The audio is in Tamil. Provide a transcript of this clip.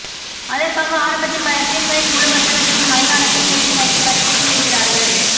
அதற்காக ஆரம்பத்தில் பல சீன்களில் முழு வசனத்தையும் மலையாளத்தில் பேச வைத்து கடுப்பேற்றி விடுகிரார்கள்